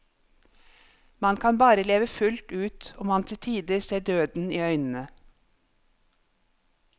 Man kan bare leve fullt ut om man til tider ser døden i øynene.